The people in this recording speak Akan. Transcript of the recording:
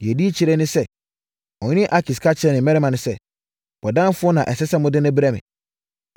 Deɛ ɛdi akyire ne sɛ, ɔhene Akis ka kyerɛɛ ne mmarima sɛ, “Bɔdamfoɔ na ɛsɛ sɛ mode no brɛ me?